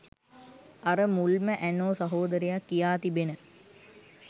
අර මුල්ම ඇනෝ සහෝදරයා කියා තිබෙන